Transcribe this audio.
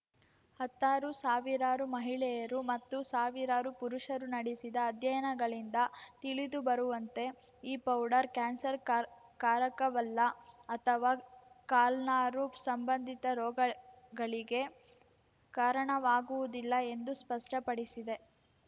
ಹತ್ತಾರು ಸಾವಿರಾರು ಮಹಿಳೆಯರು ಮತ್ತು ಸಾವಿರಾರು ಪುರುಷರು ನಡೆಸಿದ ಅಧ್ಯಯನಗಳಿಂದ ತಿಳಿದುಬರುವಂತೆ ಈ ಪೌಡರ್ ಕ್ಯಾನ್ಸರ್‌ಕಾರ್ ಕಾರಕವಲ್ಲ ಅಥವಾ ಕಲ್ನಾರು ಸಂಬಂಧಿತ ರೋಗಗಳಿಗೆ ಕಾರಣವಾಗುವುದಿಲ್ಲ ಎಂದು ಸ್ಪಷ್ಟಪಡಿಸಿದೆ